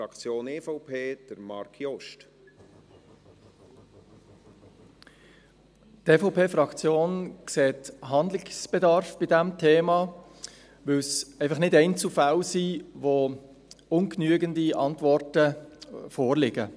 Die EVP-Fraktion sieht Handlungsbedarf bei diesem Thema, weil es einfach nicht Einzelfälle sind, bei denen ungenügende Antworten vorliegen.